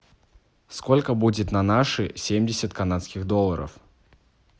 сколько будет на наши семьдесят канадских долларов